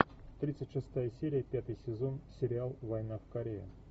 тридцать шестая серия пятый сезон сериал война в корее